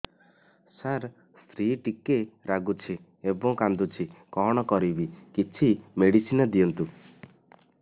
ସାର ସ୍ତ୍ରୀ ଟିକେ ରାଗୁଛି ଏବଂ କାନ୍ଦୁଛି କଣ କରିବି କିଛି ମେଡିସିନ ଦିଅନ୍ତୁ